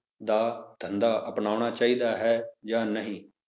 ਦਾ ਧੰਦਾ ਅਪਨਾਉਣਾ ਚਾਹੀਦਾ ਹੈ ਜਾਂ ਨਹੀਂ?